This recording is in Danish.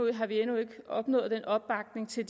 endnu ikke opnået opbakning til